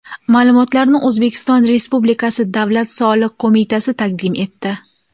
Ma’lumotlarni O‘zbekiston Respublikasi Davlat soliq qo‘mitasi taqdim etdi.